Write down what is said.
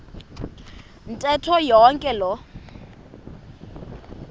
ntetho yonke loo